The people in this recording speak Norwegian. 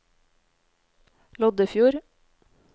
Loddefjord